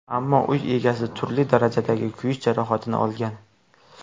Ammo uy egasi turli darajadagi kuyish jarohatini olgan.